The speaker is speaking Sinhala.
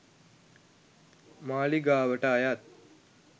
මාලිගාවට අයත්